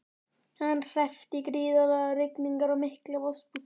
Hann hreppti gríðarlegar rigningar og mikla vosbúð.